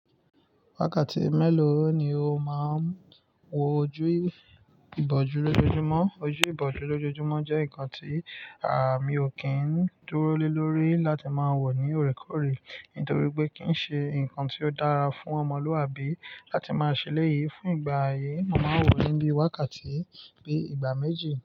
Wákàtí mélòó ni o máa ń wo ojú ìbòjú lójoojúmọ́? Ojú ìbòjú lójoojúmọ́ jẹ́ nǹkan tí àmi ò kí ń dúró lé lórí láti máa wò ní òrékòóré, nítorí pé kì í ṣe nǹkan tí ó dára fún ọmọlúwàbí láti máa ṣe léyìí. Fún ìgbà yìí, màá wò ó níbí wákàtí bíi ìgbà méjì.